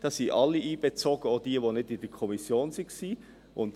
Dabei sind alle einbezogen, auch jene, die nicht in der Kommission waren.